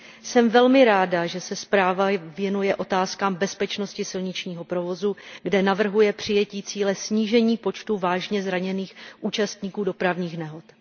Jsem velmi ráda, že se zpráva věnuje otázkám bezpečnosti silničního provozu, kde navrhuje přijetí cíle snížení počtu vážně zraněných účastníků dopravních nehod.